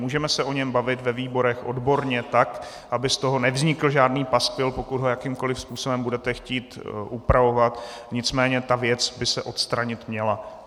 Můžeme se o něm bavit ve výborech odborně, tak aby z toho nevznikl žádný paskvil, pokud ho jakýmkoliv způsobem budete chtít upravovat, nicméně ta věc by se odstranit měla.